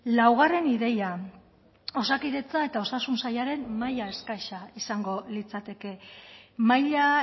laugarren ideia osakidetza eta osasun sailaren maila eskasa izango litzateke maila